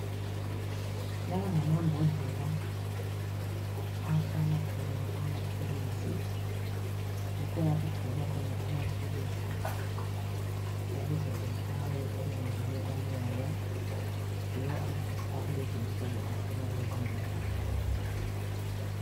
Lawa ngamambodlela ahlala khona amaphilisi. Yikho lapho okugcinelwa khona amaphilisi ukuze ehlale engangeni umoya. Yiwo amaphilisi akulezinsuku agcinwa kulezimbodlela.